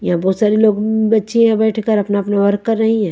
यहां बहुत सारे लोग बच्चे यहां बैठ कर अपना अपना वर्क कर रही हैं।